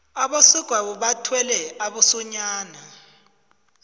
abesegwabo bathwele abosonyana